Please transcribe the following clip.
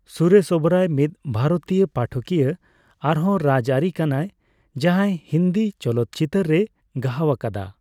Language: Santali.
ᱥᱩᱨᱮᱥ ᱳᱵᱮᱨᱚᱭ ᱢᱤᱫ ᱵᱷᱟᱨᱚᱛᱤᱭᱚ ᱯᱟᱴᱷᱚᱠᱤᱭᱟᱹ ᱟᱨᱦᱚᱸ ᱨᱟᱡᱽᱟᱹᱨᱤ ᱠᱟᱱᱟᱭ ᱡᱟᱦᱟᱸᱭ ᱦᱤᱱᱫᱤ ᱪᱚᱞᱚᱛ ᱪᱤᱛᱟᱹᱨ ᱨᱮᱭ ᱜᱟᱦᱟᱣ ᱟᱠᱟᱫᱟ ᱾